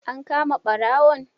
An kama ɓarawon?